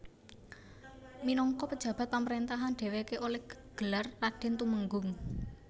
Minagka pejabat pamrentahan dheweke oleh gelar raden tumenggung